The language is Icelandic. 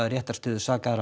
réttarstöðu